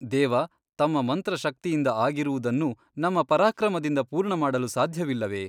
ದೇವ ತಮ್ಮ ಮಂತ್ರಶಕ್ತಿಯಿಂದ ಆಗಿರುವುದನ್ನು ನಮ್ಮ ಪರಾಕ್ರಮದಿಂದ ಪೂರ್ಣ ಮಾಡಲು ಸಾಧ್ಯವಿಲ್ಲವೆ ?